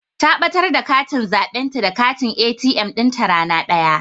Ta ɓatar da katin zaɓenta da katin ATM ɗinta rana daya.